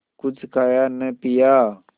कुछ खाया न पिया